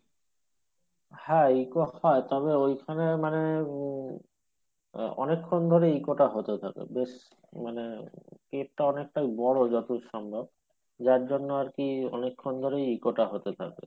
হ্যাঁ eco হয় তবে ঐখানে মানে আহ অনেক্ষন ধরে eco টা হতেই থাকে বেশ মানে cave টা অনেকটা বোরো যতদূর সম্ভব যার জন্য আরকি অনেক খান ধরে eco টা হতে থাকে।